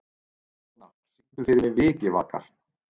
Mona, syngdu fyrir mig „Vikivakar“.